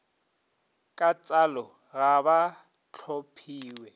ka tsalo ga ba tlhophiwe